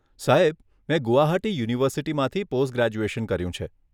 સાહેબ, મેં ગુવાહાટી યુનિવર્સિટીમાંથી પોસ્ટ ગ્રેજ્યુએશન કર્યું છે.